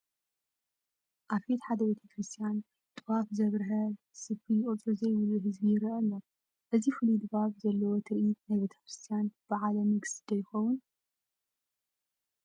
ኣብ ፊት ሓደ ቤተ ክርስቲያን ጥዋፍ ዘብርሀ ስፍሪ ቁፅሪ ዘይብሉ ህዝቢ ይርአ ኣሎ፡፡ እዚ ፍሉይ ድባብ ዘለዎ ትርኢት ናይቲ ቤተ ክርስቲያን በዓለ ንግስ ዶ ይኾን?